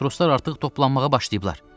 Matroslar artıq toplanmağa başlayıblar.